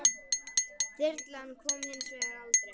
Þyrlan kom hins vegar aldrei.